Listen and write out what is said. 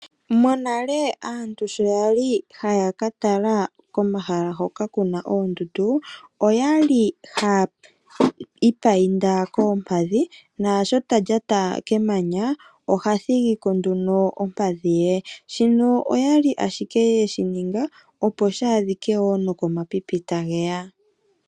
Monale aantu sho yali haya ka tala komahala hoka kuna oondundu, okwali hayi imbambeka koompadhi nasho talya kemanya, oha thigi ko nduno ompadhi ye. Shino ohaye shi ningi opo shi adhike nokomapipi ngoka ta geya.